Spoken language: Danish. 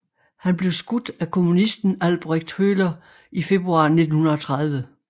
Han blev skudt af kommunisten Albrecht Höhler i februar 1930